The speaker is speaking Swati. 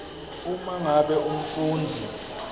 uma ngabe umfundzi